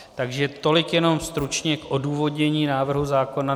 Takže tolik jenom stručně k odůvodnění návrhu zákona.